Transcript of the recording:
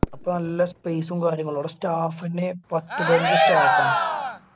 അപ്പൊ നല്ല space ഉം കാര്യങ്ങളും അവിടെ staff എന്നെ പത്ത് പതിനഞ്ച് staff ആണ്.